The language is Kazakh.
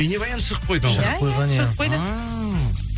бейнебаян шығып қойды ма иә иә шығып қойды ааа